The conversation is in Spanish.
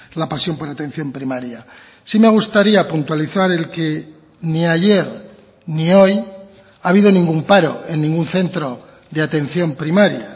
la pasión por la atención primaria sí me gustaría puntualizar el que ni ayer ni hoy ha habido ningún paro en ningún centro de atención primaria